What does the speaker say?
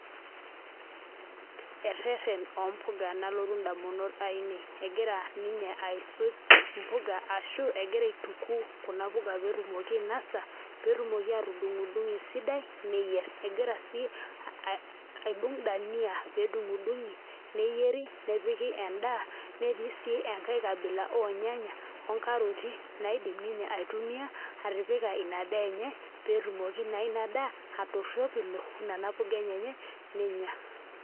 Ereren ompuka nalotu ndamunot ainei egira ninye aisuj mpuka ashu egira aituku kuna puka petumoki ainosa petumoki atudungdungo esidai neyier egira si aibung dania pedungdungi nepiki endaa netii si enkae kabisa ornyanya onkaroti naidim ninye aitumia atipika ina daa enye petumoki na inadaa atoropilo nona puka enyenyek nenya.